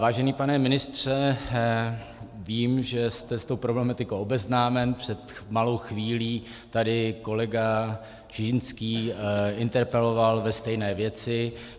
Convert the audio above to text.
Vážený pane ministře, vím, že jste s tou problematikou obeznámen, před malou chvílí tady kolega Čižinský interpeloval ve stejné věci.